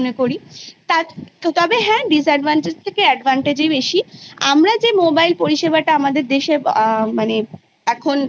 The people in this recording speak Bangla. সেখানে তাদের Class Three থেকে যখন লিখিত পরীক্ষার সম্মুখীন হতে হবে প্রচুর প্রচুর প্রচুর অসুবিধার সম্মুখীন হতে হবে তার কারণ